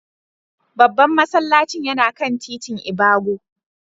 Babban masallacin yana kan titin ibago.